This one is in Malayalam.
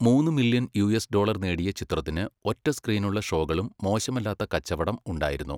മൂന്ന് മില്യൺ യുഎസ് ഡോളർ നേടിയ ചിത്രത്തിന് ഒറ്റ സ്ക്രീനുള്ള ഷോകളിലും മോശമല്ലാത്ത കച്ചവടം ഉണ്ടായിരുന്നു.